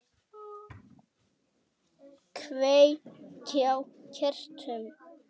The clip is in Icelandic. Kveiki á kertum.